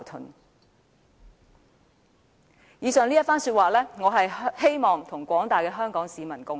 我希望藉以上這番說話，與廣大香港市民共勉。